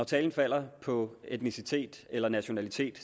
talen falder på etnicitet eller nationalitet